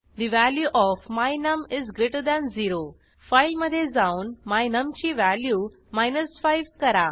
the value of my num is greater than 0 फाईलमधे जाऊन my num ची value 5 करा